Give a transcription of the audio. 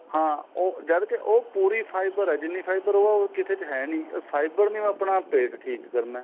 ਹਾਂ ਉਹ ਜਦ ਕੇ ਉਹ ਪੂਰੀ fiber ਏ ਜਿੰਨੀ fiber ਉਹ ਏ ਹੋਰ ਕਿਸੇ ਚ ਹੈਨੀ fiber ਨੇ ਹੀ ਆਪਣਾ ਪੇਟ ਠੀਕ ਕਰਨਾ